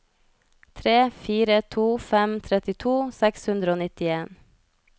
tre fire to fem trettito seks hundre og nittien